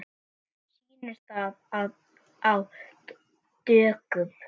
Sýnir það að á dögum